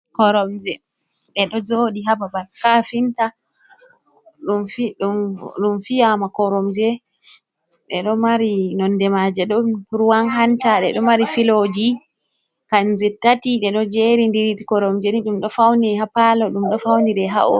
Koromje, ɗe ɗo jooɗi ha babal kaafinta. Ɗum fi, ɗum fiyaama Koromje, ɗe ɗo mari nonnde maaje ɗon ruwan hanta. Ɗe ɗo mari filooji kannje tati ɗe ɗo jeerindiri. Koromje ni ɗum ɗo fawnire ha paalo, ɗum ɗo fawnire ha o.